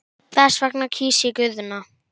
Þess vegna kýs ég Guðna.